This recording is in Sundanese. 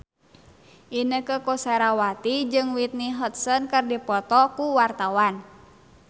Inneke Koesherawati jeung Whitney Houston keur dipoto ku wartawan